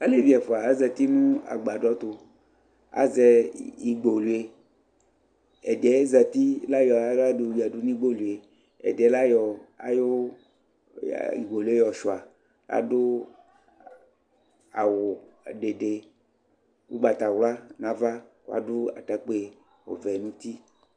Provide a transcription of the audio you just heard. Alevi ɛfʋa azati nʋ agbadɔ tʋ Azɛ igboluie, ɛdɩɛ zati la yɔ aɣla yɔyǝ du nigboluie, ɛdɩɛ layɔ ayʋ igboluie yɔ sʋɩa; adʋ awʋ dede ʋgbatawla nava kʋ adʋ atakpi ɔvɛ nuti